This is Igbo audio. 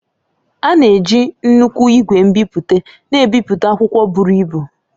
A na-eji nnukwu ìgwè nbipute na-ebipụta akwụkwọ buru ibu